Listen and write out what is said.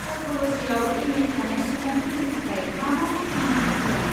साइक'ल'जिआव M A थानाय सुबुंफोरनि थाखाय मा मा साख्रिनि खाबु दं?